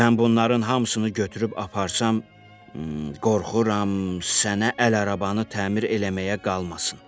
Mən bunların hamısını götürüb aparsam, qorxuram, sənə əl arabani təmir eləməyə qalmasın.